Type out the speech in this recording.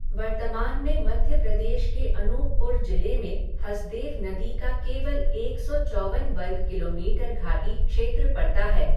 वर्तमान में मध्य प्रदेश के अनूपपुर जिले में हसदेव नदी का केवल एक सौ चौवन वर्ग किलोमीटर घाटी क्षेत्र पड़ता है।